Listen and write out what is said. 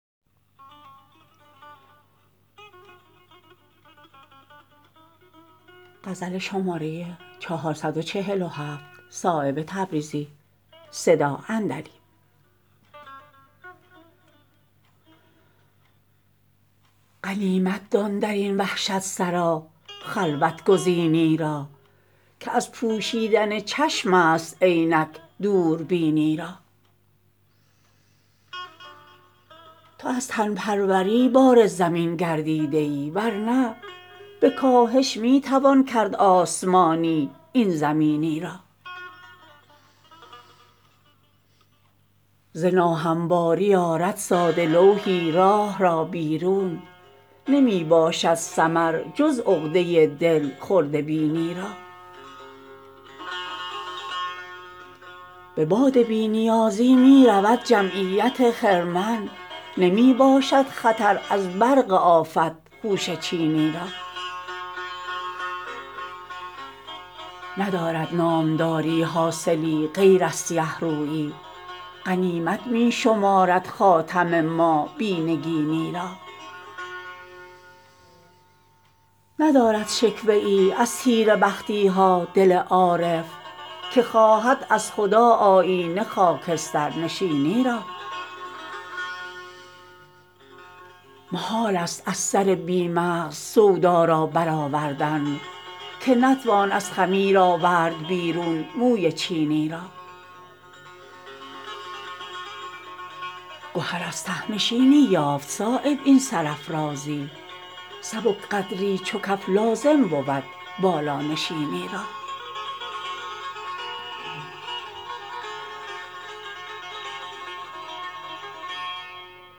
غنیمت دان درین وحشت سرا خلوت گزینی را که از پوشیدن چشم است عینک دوربینی را تو از تن پروری بار زمین گردیده ای ورنه به کاهش می توان کرد آسمانی این زمینی را ز ناهمواری آرد ساده لوحی راه را بیرون نمی باشد ثمر جز عقده دل خرده بینی را به باد بی نیازی می رود جمعیت خرمن نمی باشد خطر از برق آفت خوشه چینی را ندارد نامداری حاصلی غیر از سیه رویی غنیمت می شمارد خاتم ما بی نگینی را ندارد شکوه ای از تیره بختی ها دل عارف که خواهد از خدا آیینه خاکسترنشینی را محال است از سر بی مغز سودا را برآوردن که نتوان از خمیر آورد بیرون موی چینی را گهر از ته نشینی یافت صایب این سرافرازی سبک قدری چو کف لازم بود بالانشینی را